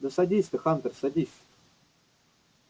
да садись ты хантер садись